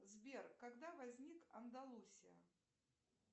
сбер когда возник андалусия